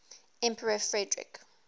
emperor frederick